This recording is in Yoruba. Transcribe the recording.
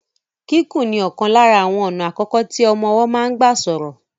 Kíkùn ni ọ̀kan lára àwọn ọ̀nà àkọ́kọ́ tí ọmọ ọwọ́ máa ń gbà sọ̀rọ̀.